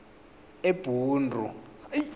ebhundu